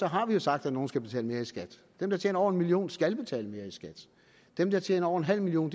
har vi jo sagt at nogle skal betale mere i skat dem der tjener over en million skal betale mere i skat dem der tjener over en halv million